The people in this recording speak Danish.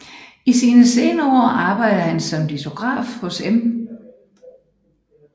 I sine senere år arbejdede han som litograf hos Em